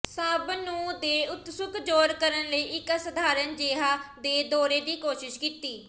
ਸਭ ਨੂੰ ਦੇ ਉਤਸੁਕ ਜ਼ੋਰ ਕਰਨ ਲਈ ਇੱਕ ਅਸਾਧਾਰਨ ਜਿਹਾ ਦੇ ਦੌਰੇ ਦੀ ਕੋਸ਼ਿਸ਼ ਕੀਤੀ